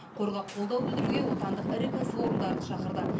қорға қолдау білдіруге отандық ірі кәсіпорындарды шақырды